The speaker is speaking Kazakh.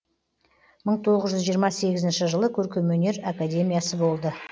мың тоғыз жүз жиырма сегізінші жылы көркемөнер академиясы болды